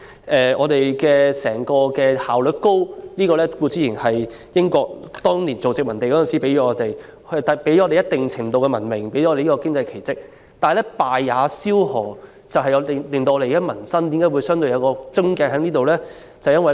香港社會整體效率高，固然是因為當年作為英國殖民地的時期，英國為香港創造了一定程度的文明和經濟奇蹟，但正所謂"敗也蕭何"，這也是香港民生問題的癥結所在。